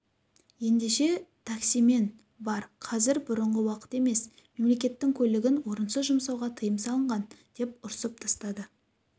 ендеше таксимен бар қазір бұрынғы уақыт емес мемлекеттің көлігін орынсыз жұмсауға тиым салынған деп ұрысып тастады